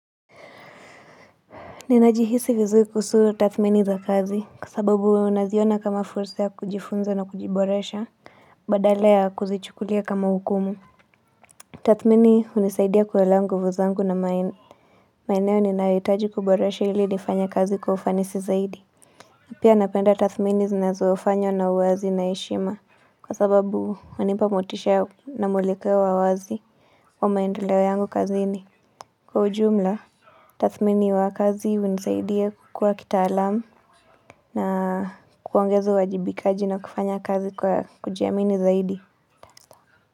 Ninajihisi vizuri kuhusu tathmini za kazi, kwa sababu naziona kama fursa ya kujifunza na kujiboresha, badala ya kuzichukulia kama hukumu. Tathmini hunisaidia kuelewa nguvu na maeneo ninayohitaji kuboresha ili nifanya kazi kwa ufanisi zaidi. Pia napenda tathmini zinazofanywa na uwazi na heshima, kwa sababu wanipa motisha na mwelekeo wa wazi wa maendeleo yangu kazini. Kwa ujumla, tathmini wa kazi hunisaidia kukua kitaalamu. Na kuongeza uwajibikaji na kufanya kazi kwa kujiamini zaidi.